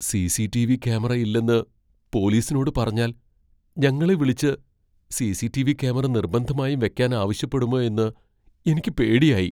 CCTV. Camera ഇല്ലെന്ന് പോലീസിനോട് പറഞ്ഞാൽ ഞങ്ങളെ വിളിച്ച് സി.സി.ടി.വി. ക്യാമറ നിർബന്ധമായും വെക്കാൻ ആവശ്യപ്പെടുമോ എന്ന് എനിക്ക് പേടിയായി.